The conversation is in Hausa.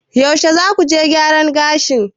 yaushe za ku je gyaran gashin?